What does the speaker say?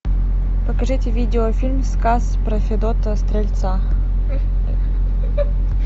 покажите видеофильм сказ про федота стрельца